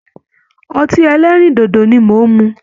Ọtí ẹlẹ́rìndòdò ni mò ń mu